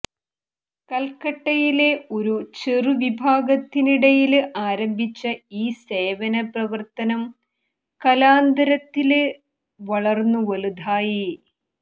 കല്ക്കട്ടയിലെ ഒരു ചെറുവിഭാഗത്തിനിടയില് ആരംഭിച്ച ഈ സേവനപ്രവര്ത്തനം കലാന്തരത്തില് വളര്ന്നുവലുതായി